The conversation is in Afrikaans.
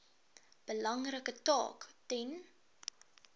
belangrike taak ten